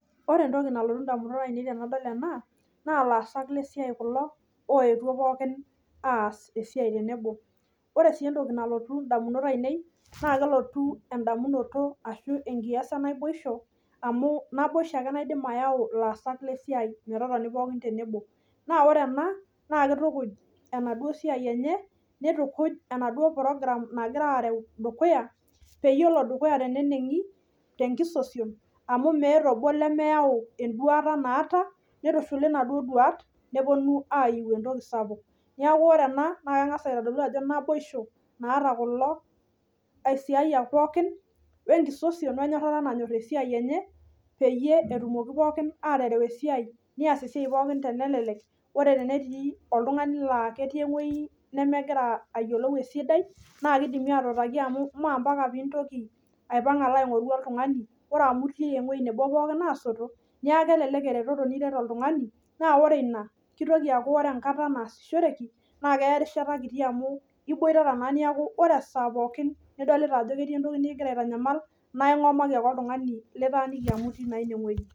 Ore entoki nalotu indamunot ainei tenadol ena naa laasak lesiai kulo oetuo pookin aas esiai tenebo. Ore sii entoki nalotu indamunot ainei naa kelotu endamunoto ashu enkias enaboisho amu naboisho ake naidim ayau ilaasak lesiai metotoni pookin tenebo. Naa ore ena, naa keitukuj enaduo siai enye neitukuj enaduo program nagiraareu dukuya peyie elo dukuya teneneng'i, tenkisosion amu meata obo lemeyau enduaata naata neitushuli nasuo duaat nepuonu aaiu entoki sapuk. Neaku ore ena naa keng'as aitodolu ajo naboisho naata kulo aisiayak pookin oenkisosion oenyorrata nanyorr esiai enye peyie etumoki pookin atereu esiai, neas esiai pookin tenelelek ore tenetii oltung'ani laa ketii ewuei nemegira ayiolou esidai naakeidimi atuutaki amu moompaka piintoki aipang' alo aing'oru oltung'ani, ore amu itii ewuei nebo pookin asoto, neaku elelek eretoto niret oltung'ani. Naa ore ina, keitoki aaku ore enkata naasishoreki naa keya erishata kiti amu iboitata naa neaku ore esaa pookin nidolita ajo ketii entoki nikigira aitanyamal naa ing'omaki ake oltung'ani litaaniki amu itii naa inewueji.